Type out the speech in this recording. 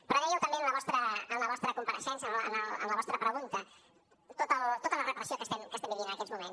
però dèieu també en la vostra compareixença en la vostra pregunta tota la repressió que estem vivint en aquests moments